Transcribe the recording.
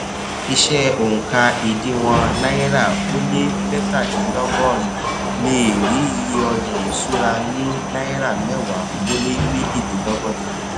iṣẹ oùnka ìdíwọn náírà ó lé mẹtàdinlọgọrin lé è rí iye ọjà ìṣúra ní náírà mẹwa ó lé méjilelọgọta